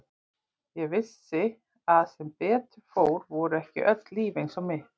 Ég vissi að sem betur fór voru ekki öll líf eins og mitt.